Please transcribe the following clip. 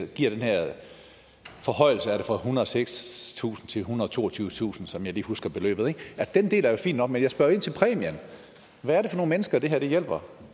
giver den her forhøjelse fra ethundrede og sekstusind kroner til ethundrede og toogtyvetusind kr som jeg lige husker beløbet den del er jo fin nok men jeg spørger ind til præmien hvad er det for nogen mennesker det her hjælper